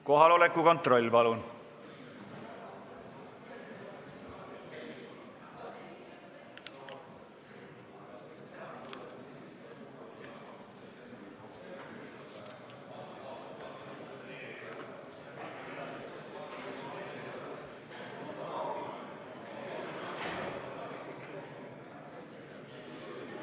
Kohaloleku kontroll, palun!